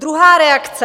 Druhá reakce.